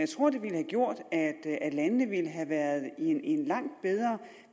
tror at det ville have gjort at landene ville have været i en langt bedre